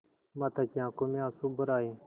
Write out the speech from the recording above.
माता की आँखों में आँसू भर आये